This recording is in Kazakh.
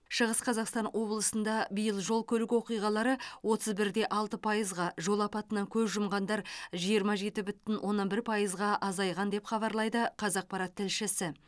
шығыс қазақстан облысында биыл жол көлік оқиғалары отыз бір де алты пайызға жол апатынан көз жұмғандар жиырма жеті бүтін оннан бір пайызға азайған деп хабарлайды қазақпарат тілшісі